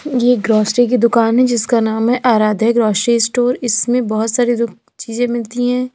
ये ग्रोसरी की दुकान है जिसका नाम है आराध्या ग्रोसरी स्टोर इसमें बहुत सारी चीजें मिलती हैं।